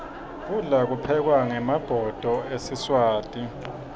kudla kuphekwa ngemabhodo esiswati